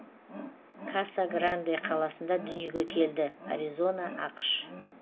каса гранде қаласында дүниеге келді аризона ақш